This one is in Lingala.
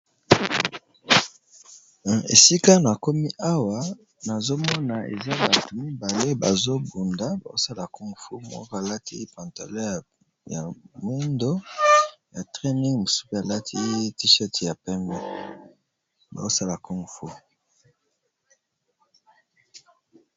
Esika na komi awa nazomona eza batu mibale bazobunda basala congfu mor alati pantale ya mundo ya traning mosubi alati tisheti ya peme baosala cungfu.